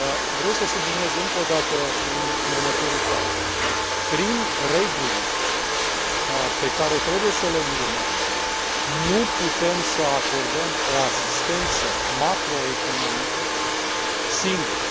Vreau să subliniez încă o dată următorul fapt prin regulile pe care trebuie să le urmăm nu putem să acordăm o asistență macroeconomică singuri.